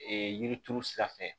Ee yiri turu sira fɛ